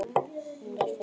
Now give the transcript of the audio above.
Hún var fædd móðir.